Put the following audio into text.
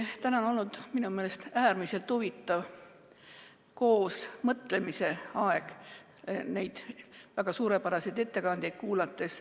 Täna on minu meelest olnud äärmiselt huvitav koosmõtlemise aeg neid väga suurepäraseid ettekandeid kuulates.